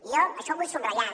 jo això ho vull subratllar